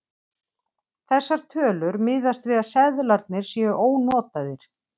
Þessar tölur miðast við að seðlarnir séu ónotaðir.